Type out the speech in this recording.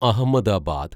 Ahmedabad